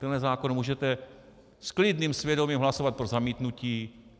Tenhle zákon můžete s klidným svědomím hlasovat pro zamítnutí.